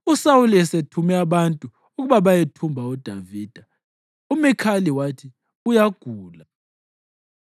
USawuli esethume abantu ukuba bayethumba uDavida, uMikhali wathi, “Uyagula.”